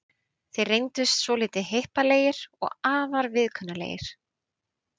Þeir reyndust svolítið hippalegir og afar viðkunnanlegir.